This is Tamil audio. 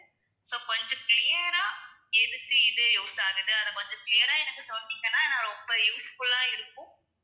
so கொஞ்சம் clear ஆ எதுக்கு இது use ஆகுது அதை கொஞ்சம் clear ஆ எனக்கு சொன்னீங்கன்னா எனக்கு ரொம்ப useful ஆ இருக்கும்